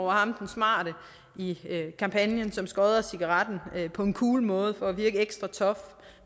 ham den smarte i kampagnen som skodder cigaretten på en cool måde for at virke ekstra tough